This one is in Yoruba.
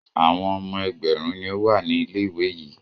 Àwọn ọmọ ẹgbẹ̀rún ni ó wà ní ilé-ìwé yìí.